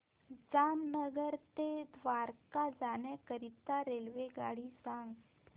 जामनगर ते द्वारका जाण्याकरीता रेल्वेगाडी सांग